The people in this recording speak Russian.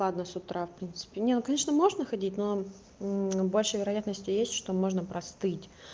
ладно с утра в принципе нет ну конечно можно ходить но больше вероятности есть что можно простыть